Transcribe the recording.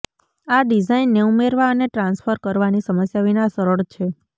આ ડિઝાઇનને ઉમેરવા અને ટ્રાન્સફર કરવાની સમસ્યા વિના સરળ છે